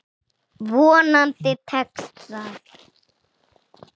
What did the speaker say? Vonandi tekst það.